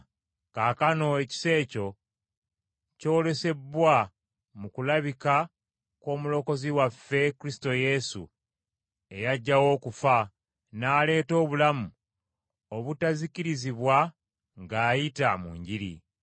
Kaakano ekisa ekyo kyolesebbwa mu kulabika kw’Omulokozi waffe Kristo Yesu eyaggyawo okufa, n’aleeta obulamu obutazikirizibwa ng’ayita mu Njiri,